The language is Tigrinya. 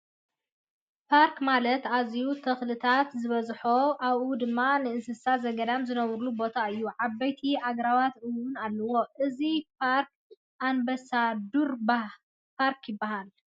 ባርክ ማለት ኣዝየዩ ተክልታት ዝበዝሖን ኣብኡ ድማ እንስሳ ዘገዳም ዝነብሩሉ ቦታ እዩ። ዓበይቲ ኣግራባት እውን ኣለው። እዝይ ባርክ ኣንባሳዶር ባርክ ይብሃል።